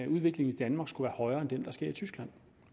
udviklingen i danmark skulle være højere end den der sker i tyskland